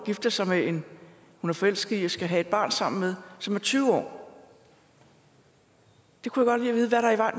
år gifter sig med en hun er forelsket i og skal have et barn sammen med og som er tyve år det kunne